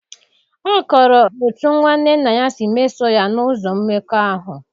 Ọ kọrọ otú nwanne nna ya si mesoo ya n’ụzọ mmekọahụ